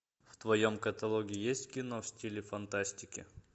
в твоем каталоге есть кино в стиле фантастики